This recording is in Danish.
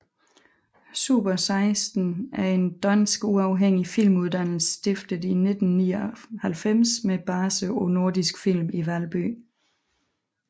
Super16 er en dansk uafhængig filmuddannelse stiftet i 1999 med base på Nordisk Film i Valby